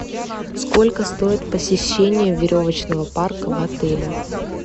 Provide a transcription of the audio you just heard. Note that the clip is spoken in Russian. сколько стоит посещение веревочного парка в отеле